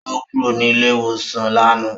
Ó kúrò ní ilé-ìwòsàn lánàá.